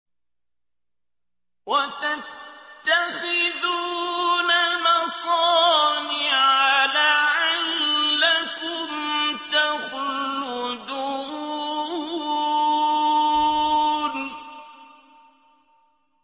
وَتَتَّخِذُونَ مَصَانِعَ لَعَلَّكُمْ تَخْلُدُونَ